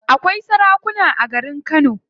Akwai sarakuna a garin kano.